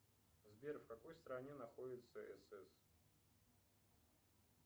сбер в какой стране находится сс